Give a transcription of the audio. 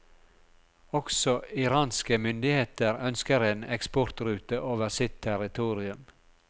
Også iranske myndigheter ønsker en eksportrute over sitt territorium.